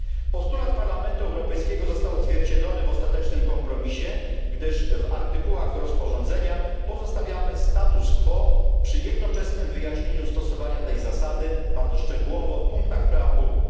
Postulat Parlamentu Europejskiego został odzwierciedlony w ostatecznym kompromisie, gdyż w artykułach rozporządzenia pozostawiamy status quo przy jednoczesnym wyjaśnieniu stosowania tej zasady, bardzo szczegółowo, w punktach preambuły.